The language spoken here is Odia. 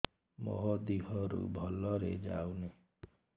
ମୋ ଦିହରୁ ଭଲରେ ଯାଉନି